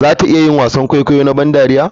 Za ta iya yin wasan kwaikwayo na ban dariya?